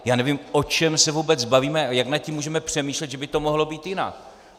Já nevím, o čem se vůbec bavíme a jak nad tím můžeme přemýšlet, že by to mohlo být jinak.